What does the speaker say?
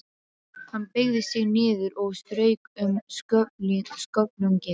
Hann beygði sig niður og strauk um sköflunginn.